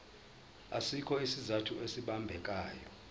asikho isizathu esibambekayo